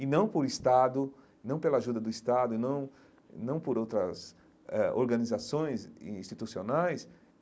E não por Estado, não pela ajuda do Estado, e não não por outras eh organizações institucionais.